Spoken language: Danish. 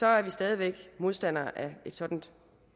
er vi stadig væk modstandere af et sådant